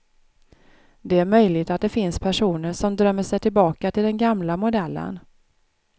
Det är möjligt att det finns personer som drömmer sig tillbaka till den gamla modellen.